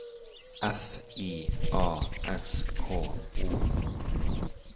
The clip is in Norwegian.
F I A S K O